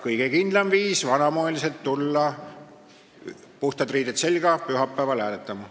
Kõige kindlam viis on vanamoeliselt tulla, puhtad riided seljas, pühapäeval hääletama.